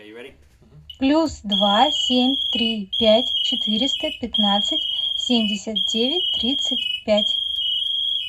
плюс два семь три пять четыреста пятнадцать семьдесят девять тридцать пять